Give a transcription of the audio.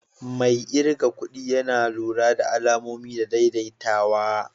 Mai kirgan kudi Yana lura da ma'amloli da daidaitawa.